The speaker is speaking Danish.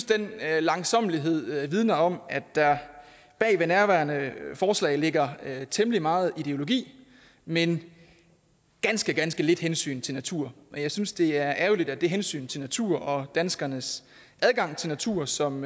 den langsommelighed vidner om at der bagved nærværende forslag ligger temmelig meget ideologi men ganske ganske lidt hensyn til natur og jeg synes det er ærgerligt at det hensyn til natur og danskernes adgang til natur som